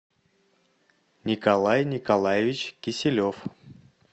николай николаевич киселев